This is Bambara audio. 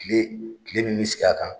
Kile kile min bɛ sigi a kan.